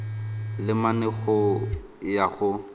le mane go ya go